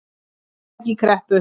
Fyrirtæki í kreppu.